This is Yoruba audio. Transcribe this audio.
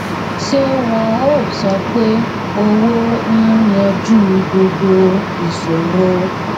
ṣé wọn ò sọ pé owó ń yanjú gbogbo ìṣòro